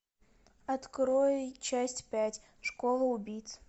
открой часть пять школа убийц